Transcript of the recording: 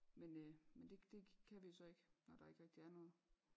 Men øh men det kan vi jo så ikke når der ikke rigtig er noget